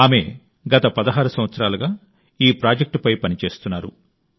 ఆమె గత 16 సంవత్సరాలుగా ఈ ప్రాజెక్ట్పై పనిచేస్తున్నారు